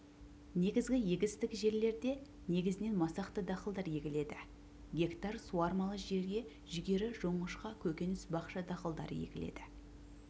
негізгі егістік жерлерде негізінен масақты дақылдар егіледі гектар суармалы жерге жүгері жоңышқа көкөніс бақша дақылдар егіледі